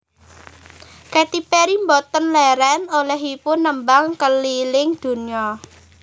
Katy Perry mboten leren olehipun nembang keliling donya